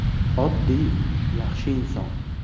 “Oddiy, yaxshi inson.